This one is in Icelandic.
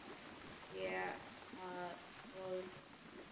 Sé að koðna niður.